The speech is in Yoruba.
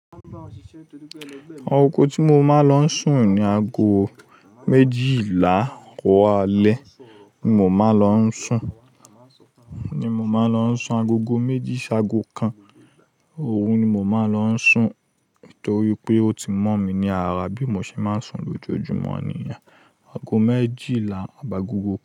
Akokọ̀ tí mo máa ń lọ sùn ni aago méjìlá ọ̀r alẹ́ ni mo máa ń lọ sùn, ni mo máa ń lọ sùn agogo méjì ṣágo kan. Òun ni mo máa ń lọ sùn torí pé ó ti mọ̀ mí ní ara bí mo ṣe máa ń sùn lójoojúmọ́ níyen. Aago méjìlá àbi agogo kan.